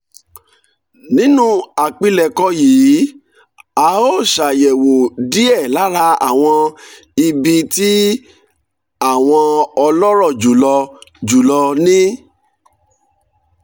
nínú àpilẹ̀kọ yìí a óò ṣàyẹ̀wò díẹ̀ lára àwọn ibi tí àwọn ọlọ́rọ̀ jù lọ jù lọ ní